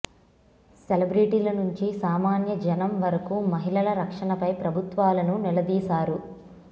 సెలబ్రిటీల నుంచి సామాన్య జనం వరకూ మహిళల రక్షణపై ప్రభుత్వాలను నిలదీశారు